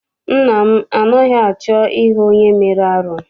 Nna m anaghị achọ I hụ onye mere arụ.